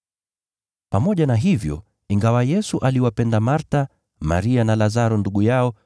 Pamoja na hivyo, ingawa Yesu aliwapenda Martha, Maria na Lazaro ndugu yao,